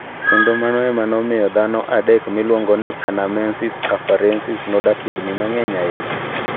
Kendo mano ema nomiyo dhano adekon miluongo ni 'anamensis naafarensis' nodak higini mang'eny ahinya.